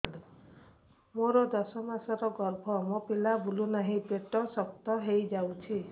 ମୋର ଦଶ ମାସର ଗର୍ଭ ମୋ ପିଲା ବୁଲୁ ନାହିଁ ପେଟ ଶକ୍ତ ହେଇଯାଉଛି